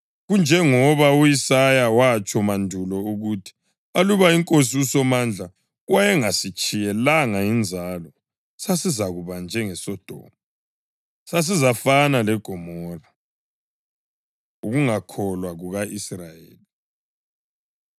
Kunjengoba u-Isaya watsho mandulo ukuthi: “Aluba iNkosi uSomandla wayengasitshiyelanga inzalo, sasizakuba njengeSodoma, sasizafana leGomora.” + 9.29 U-Isaya 1.9 Ukungakholwa Kuka-Israyeli